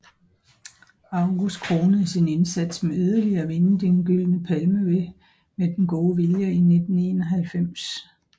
August kronede sin indsats med yderligere at vinde Den Gyldne Palme med Den Gode Vilje i 1991